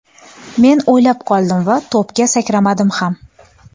Men o‘ylab qoldim va to‘pga sakramadim ham.